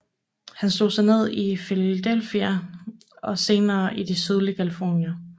Han slog sig ned i Philadelphia og senere i det sydlige Californien